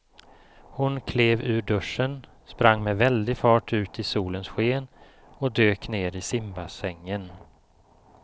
Hon klev ur duschen, sprang med väldig fart ut i solens sken och dök ner i simbassängen.